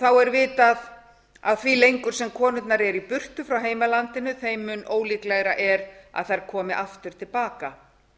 þá er vitað að því lengur sem konurnar eru í burtu frá heimalandinu þeim mun ólíklegra er að þær komi aftur til baka